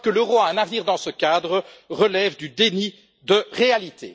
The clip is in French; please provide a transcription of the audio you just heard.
Croire que l'euro a un avenir dans ce cadre relève du déni de réalité.